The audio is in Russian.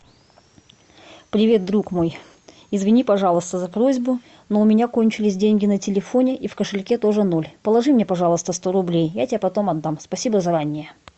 привет друг мой извини пожалуйста за просьбу но у меня кончились деньги на телефоне и в кошельке тоже ноль положи мне пожалуйста сто рублей я тебе потом отдам спасибо заранее